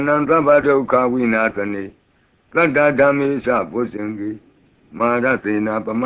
နံ၊ သဗ္ဗဒုက္ခဝိနာသနေ။ သတ္တ ဓမ္မေ စ ဗောဇ္ဈင်္ဂေ၊ မာရသေနာ ပမ